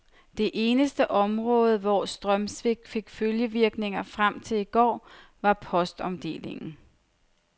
Det eneste område, hvor strømsvigtet fik følgevirkninger frem til i går, var postomdelingen.